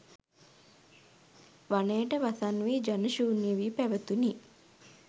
වනයට වසන් වී ජන ශූන්‍ය වී පැවැතුණි.